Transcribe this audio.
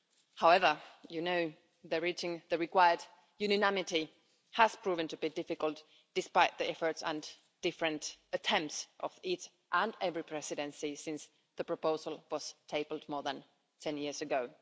However, you know that reaching the required unanimity has proven to be difficult despite the efforts and different attempts of each and every Presidency since the proposal was tabled more than 10 years ago.